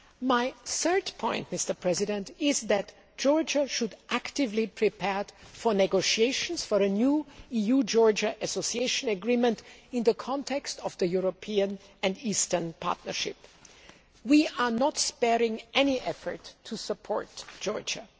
My third point is that Georgia should actively prepare for negotiations for a new EU Georgia association agreement in the context of the European and Eastern Partnership. We are not sparing any effort to support Georgia.